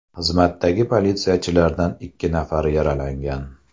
Xizmatdagi politsiyachilardan ikki nafari yaralangan.